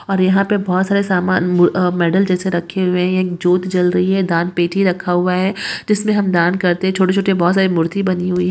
और यह पे बोहत सारे सामान मूर आ मेडल जैसे रखे हुए है एक जोत ज्वल रही हे दान पेटी रखा हुएा हे जिसमे हम दान करते छोटे छोटे बहत सारे मूर्ति बनी हुएी--